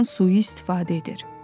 ondan sui-istifadə edir.